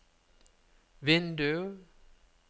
vindu